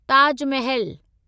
Taj Mahal